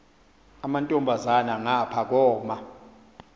amantombazana ngapha koma